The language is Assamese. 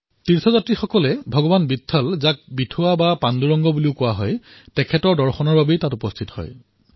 তীৰ্থযাত্ৰী ভগৱান বিত্থল যাক বিঠোৱা অথবা পাণ্ডুৰংগ বুলিও কোৱা হয় তেওঁৰ দৰ্শনৰ বাবে তাত উপস্থিত হয়